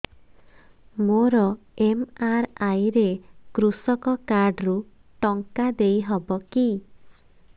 ମୋର ଏମ.ଆର.ଆଇ ରେ କୃଷକ କାର୍ଡ ରୁ ଟଙ୍କା ଦେଇ ହବ କି